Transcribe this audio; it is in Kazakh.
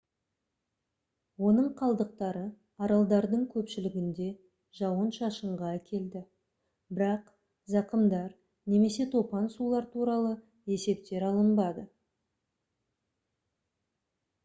оның қалдықтары аралдардың көпшілігінде жауын-шашынға әкелді бірақ зақымдар немесе топан сулар туралы есептер алынбады